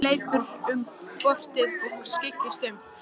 Hann hleypur um portið og skyggnist um.